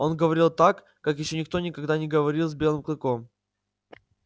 он говорил так как ещё никто никогда не говорил с белым клыком